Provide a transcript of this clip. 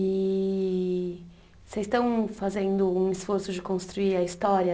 E vocês estão fazendo um esforço de construir a história